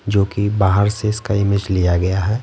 जोकि बाहर से इसका इमेज लिया गया है।